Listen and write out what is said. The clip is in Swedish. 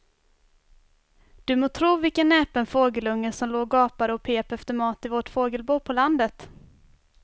Du må tro vilken näpen fågelunge som låg och gapade och pep efter mat i vårt fågelbo på landet.